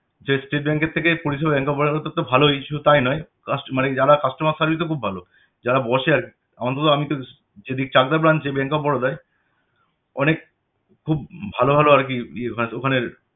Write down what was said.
যে state bank এর থেকে পরিষেবা bank of Baroda তে তে ভালই শুদুহ তাই নয় কাস্ট~ মানে যারা customer service ও খুব ভালো যারা বসে আরকি অন্তত আমি তো যদি চাকদা branch এ bank of Baroda য় অনেক খুব ভালো ভালো আর কি ইয়ে হয় তো ওখানের